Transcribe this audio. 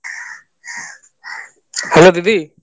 back ground noise Hello দিদি